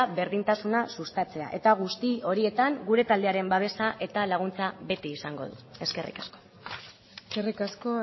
berdintasuna sustatzea eta guzti horietan gure taldearen babesa eta laguntza beti izango du eskerrik asko eskerrik asko